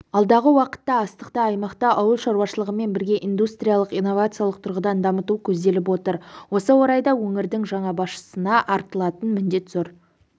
алдағы уақытта астықты аймақты ауыл шаруашылығымен бірге индустриялық-инновациялық тұрғыдан дамыту көзделіп отыр осы орайда өңірдің жаңа басшысына артылар міндет зор